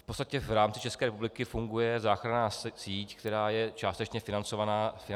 V podstatě v rámci České republiky funguje záchranná síť, která je částečně financovaná státem.